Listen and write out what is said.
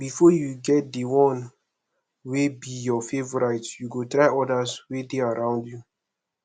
before you get di one wey be your favourite you go try others wey de around you